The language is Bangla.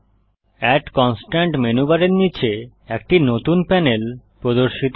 এড কনস্ট্রেইন্ট মেনু বারের নীচে একটি নতুন প্যানেল প্রদর্শিত হয়